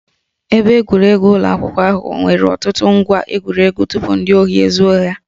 Ebe egwuregwu ụlọ akwụkwọ ahụ nwere ọtụtụ ngwá egwuregwu tupu ndị ohi ezuo ha